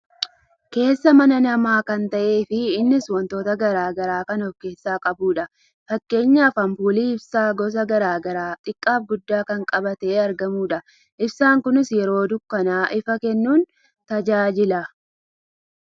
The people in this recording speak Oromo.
Keessa mana namaa kan ta'ee fi innis wantoota gara garaa kan of keessaa qabudha. Fakkeenyaaf ampuulii ibsaa gosa gara garaa xiqqaaf guddaa kan qabatee argamudha. Ibsaan kunis yeroo dukkanaa ifa kennuun nu tajaajila.